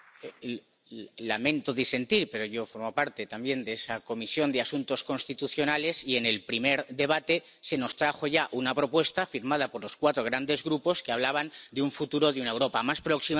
Lamento disentir, pero yo formo parte también de esa Comisión de Asuntos Constitucionales y en el primer debate se nos trajo ya una propuesta, firmada por los cuatro grandes grupos, que hablaban de un futuro de una Europa más próxima, más cercana...